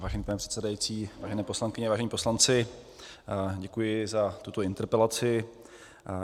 Vážený pane předsedající, vážené poslankyně, vážení poslanci, děkuji za tuto interpelaci.